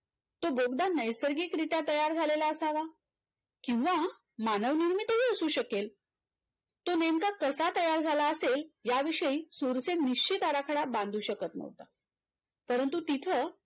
तो बोगदा नैसर्गिकरीत्या तयार झालेला असावा किंवा मानवनिर्मितही असू शकेल तो नेमका कसा तयार झाला असेल याविषयी सुरसेन निश्चित आराखडा बांधू शकत नव्हता परंतु तिथ